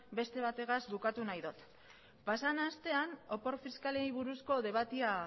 beste bategaz bukatu nahi dut pasadan astean opor fiskalei buruzko debatea